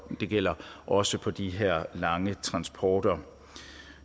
og det gælder også på de her lange transporter